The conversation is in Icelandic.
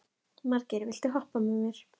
Margeir, viltu hoppa með mér?